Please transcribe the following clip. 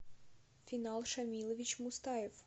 финал шамилович мустаев